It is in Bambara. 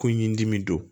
Ko ɲindimi don